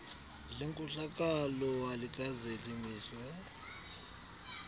lenkohlakalo alikaze limiswe